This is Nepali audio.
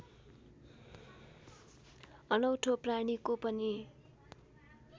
अनौठो प्राणीको पनि